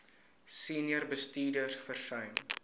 senior bestuurders versuim